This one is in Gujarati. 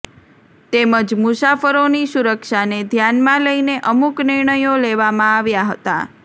તેમજ મુસાફરોની સુરક્ષાને ધ્યાનમાં લઇને અમુક નિર્ણયો લેવામાં આવ્યા હતા